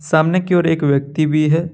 सामने की ओर एक व्यक्ति भी है।